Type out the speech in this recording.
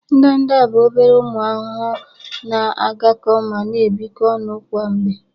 Ndanda bụ ọbere ụmụ ahụhụ na-agakọ ma na-ebikọ onụ kwa mgbe.